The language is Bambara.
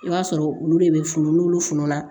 I b'a sɔrɔ olu de bɛ funu n'olu fununa